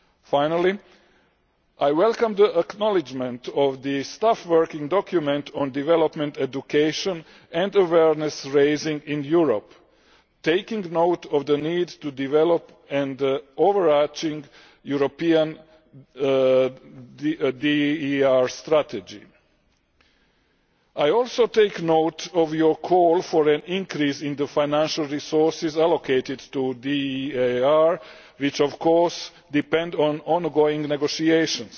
Finally, I welcome the acknowledgement of the staff working document on Development Education and Awareness Raising in Europe, taking note of the need to develop an overarching European DEAR Strategy. I also take note of your call for an increase in the financial resources allocated to DEAR, which of course depend on ongoing negotiations.